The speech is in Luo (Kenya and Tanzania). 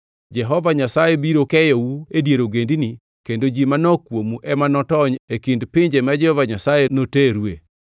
Jehova Nyasaye biro keyou e dier ogendini kendo ji manok kuomu ema notony e kind pinje ma Jehova Nyasaye noterue.